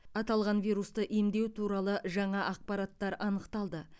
аталған вирусты емдеу туралы жаңа ақпараттар анықталды